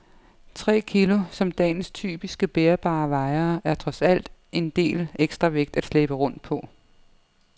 Tre kilo, som dagens typiske bærbare vejer, er trods alt en del ekstra vægt at slæbe rundt på.